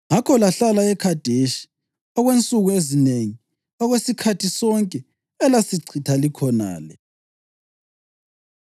Ngakho lahlala eKhadeshi okwensuku ezinengi, okwesikhathi sonke elasichitha likhonale.”